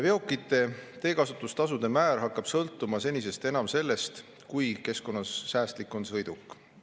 Veokite teekasutustasude määr hakkab sõltuma senisest enam sellest, kui keskkonnasäästlik on sõiduk.